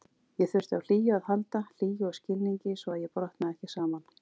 Ég þurfti á hlýju að halda, hlýju og skilningi svo að ég brotnaði ekki saman.